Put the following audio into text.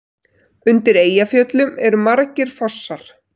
Undir Eyjafjöllum eru margir fossar.